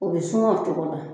U bɛ suma o cogo la